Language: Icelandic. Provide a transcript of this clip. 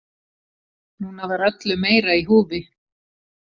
Núna var öllu meira í húfi.